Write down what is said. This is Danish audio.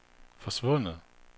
forsvundet